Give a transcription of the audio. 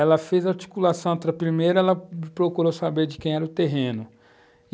Ela fez a articulação antraprimeira, ela procurou saber de quem era o terreno.